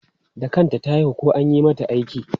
Da kanta ta haihu ko an yi mata aiki?